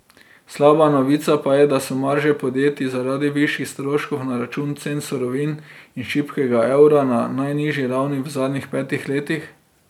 Slaba novica pa je, da so marže podjetij zaradi višjih stroškov na račun cen surovin in šibkega evra na najnižji ravni v zadnjih petih letih.